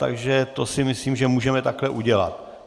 Takže to si myslím, že můžeme takhle udělat.